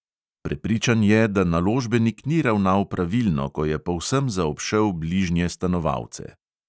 Prepričan je, da naložbenik ni ravnal pravilno, ko je povsem zaobšel bližnje stanovalce.